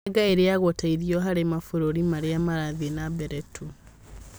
Mĩanga ĩrĩagwo ta irio harĩ mabũrũri marĩa marathiĩ na mbere tu